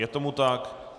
Je tomu tak.